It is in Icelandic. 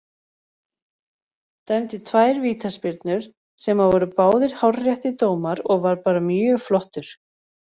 Dæmdi tvær vítaspyrnur sem að voru báðir hárréttir dómar og var bara mjög flottur.